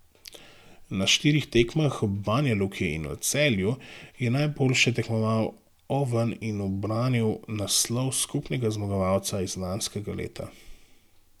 Na štirih tekmah v Banjaluki in v Celju je najboljše tekmoval Oven in ubranil naslov skupnega zmagovalca iz lanskega leta.